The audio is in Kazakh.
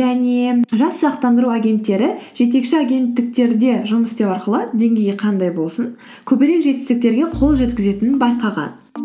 және жас сақтандыру агеттері жетекші агенттіктерде жұмыс істеу арқылы деңгейі қандай болсын көбірек жетістіктерге қол жеткізетінін байқаған